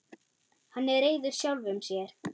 Hann er reiður sjálfum sér.